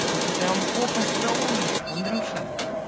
да ты прям бог остроумия андрюша